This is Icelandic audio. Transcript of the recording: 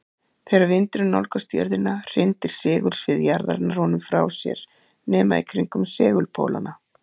Þegar vindurinn nálgast jörðina hrindir segulsvið jarðarinnar honum frá sér nema í kringum segulpólana.